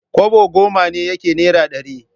Kwabo goma ne yake naira ɗaya.